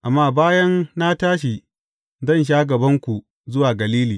Amma bayan na tashi, zan sha gabanku zuwa Galili.